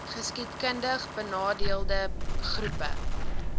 geskiedkundig benadeelde groepe